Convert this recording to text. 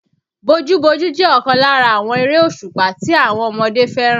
Bojú-bojú jẹ́ ọ̀kan lára àwọn erésùpá tí àwọn ọmọdé fẹ́ràn